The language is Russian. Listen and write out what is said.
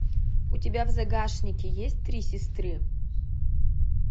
у тебя в загашнике есть три сестры